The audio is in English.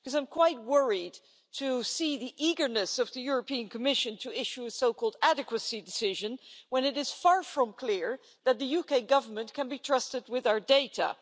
I'm quite worried to see the eagerness of the Commission to issue a so called adequacy decision' when it is far from clear that the UK Government can be trusted with our data.